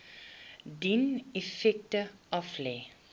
dien effekte aflê